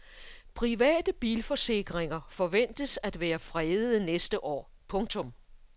Private bilforsikringer forventes at være fredede næste år. punktum